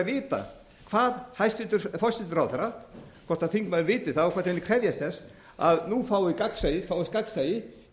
vita hvað hæstvirtur forsætisráðherra hvort þingmaðurinn viti það og hvort hann muni krefjast þess að nú fáum við gagnsæi fáist gagnsæi í